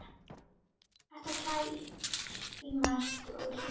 Uss, hættu að klæmast og hlýddu!